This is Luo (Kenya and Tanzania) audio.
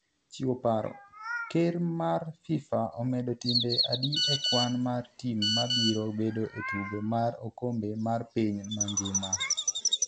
chiewo paro; Ker mar FIFA omedo timbe adi e kwan mar tim mabiro bedo e tugo mar okombe mar piny mangima?